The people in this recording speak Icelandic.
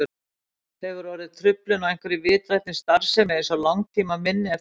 Hefur orðið truflun á einhverri vitrænni starfsemi eins og langtímaminni eftir heilablóðfall?